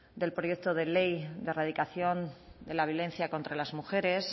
del proyecto de ley de erradicación de la violencia contra las mujeres